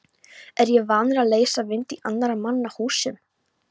Er ég vanur að leysa vind í annarra manna húsum?